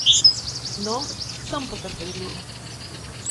No, sem potrpežljiv.